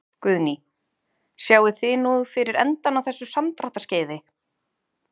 Guðný: Sjáið þið nú fyrir endann á þessu samdráttarskeiði?